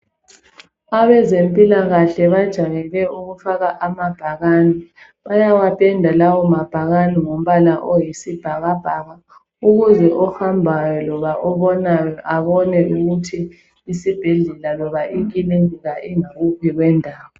Abezempilakahle bajayele ukufaka amabhakani bayawapenda lawo mabhakani ngombala oyisibhakabhaka, ukuze ohambayo loba obonayo abone ukuthi isibhedlela loba ikilinika ingakuphi kwendawo.